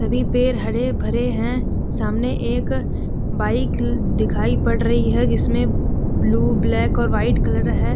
सभी पेड़ हरे भरे हैं सामने एक बाइक दिखाई पड़ रही है जिसमें ब्लू ब्लैक और व्हाइट कलर है।